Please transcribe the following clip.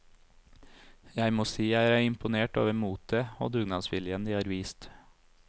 Jeg må si jeg er imponert over motet, og dugnadsviljen de har vist.